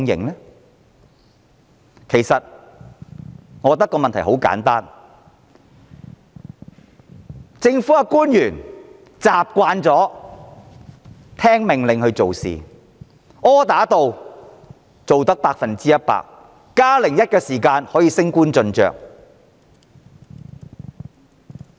理由很簡單，就是特區政府官員習慣按命令做事，只要百分之一百完成，甚至做到"加零一"，便能升官晉爵。